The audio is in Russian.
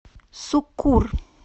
суккур